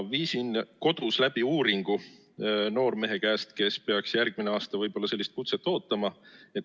Viisin kodus läbi uuringu, küsisin noormehe käest, kes peaks järgmine aasta võib-olla sellist kutset ootama.